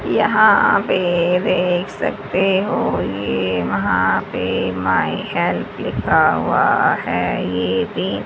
यहां पे देख सकते हो ये वहां पे माई हेल्प लिखा हुआ है ये भी--